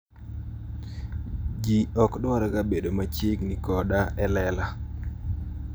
Ji ok dwarga bedo machiegni koda e lela.'"